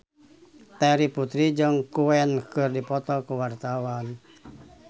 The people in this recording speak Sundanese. Terry Putri jeung Queen keur dipoto ku wartawan